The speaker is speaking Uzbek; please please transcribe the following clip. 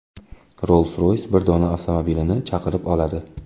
Rolls-Royce bir dona avtomobilini chaqirib oladi.